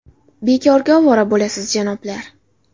Bekorga ovora bo‘lasiz, janoblar!